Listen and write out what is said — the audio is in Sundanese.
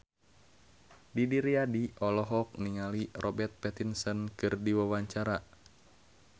Didi Riyadi olohok ningali Robert Pattinson keur diwawancara